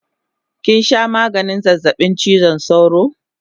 Kinsha maganin zazzabin chizon sauro?